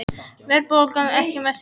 Verðbólgan ekki mest hér